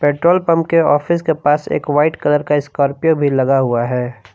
Petrol pump के office के पास एक व्हाइट कलर का स्कॉर्पियो भी लगा हुआ है।